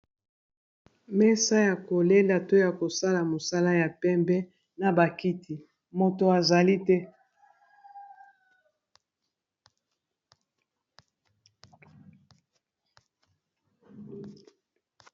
Mesa ya koliala to ya kosala mosala ya pembe na bakiti moto azali te.